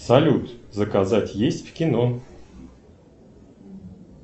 салют заказать есть в кино